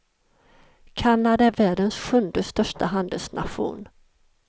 Kanada är världens sjunde största handelsnation.